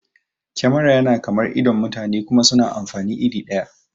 Kemara yana kamar idon mutane kuma suna amfani iri ɗaya